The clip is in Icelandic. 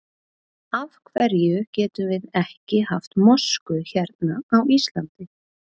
Af hverjum getum við ekki haft mosku hérna á Íslandi?